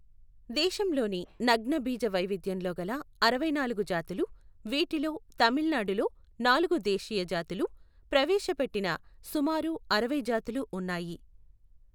దేశంలోని నగ్నబీజ వైవిధ్యంలో గల అరవైనాలుగు జాతులు, వీటిలో తమిళనాడులో నాలుగు దేశీయ జాతులు, ప్రవేశపెట్టిన సుమారు అరవై జాతులు ఉన్నాయి.